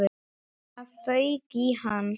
Það fauk í hann.